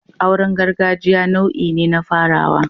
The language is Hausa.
Auren gargajiya nau'i ne na farawa